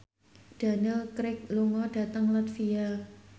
Daniel Craig lunga dhateng latvia